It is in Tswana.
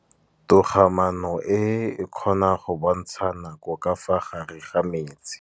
Toga-maanô e, e kgona go bontsha nakô ka fa gare ga metsi.